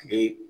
Kile